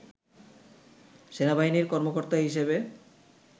সেনাবাহিনীর কর্মকর্তা হিসেবে